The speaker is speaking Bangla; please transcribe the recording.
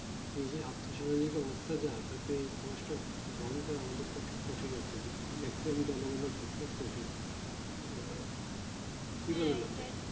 এই যে অর্থ সামাজিক অবস্থা যা তাতেই এই বন্ধ করা আমাদের পক্ষে কঠিন actually maximum জনগণের পক্ষে কঠিন আহ